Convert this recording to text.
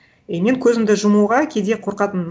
и мен көзімді жұмуға кейде қорқатынмын